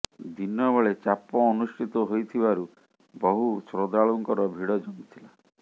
ଦିନ ବେଳେ ଚାପ ଅନୁଷ୍ଠିତ ହୋଇଥିବାରୁ ବହୁ ଶ୍ରଦ୍ଧାଳୁଙ୍କର ଭିଡ ଜମିଥିଲା